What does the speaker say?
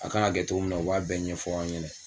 A kan ka kɛ cogo min na u b'a bɛɛ ɲɛfɔ an ɲɛna